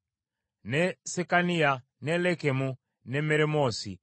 ne Sekaniya, ne Lekumu, ne Meremoosi,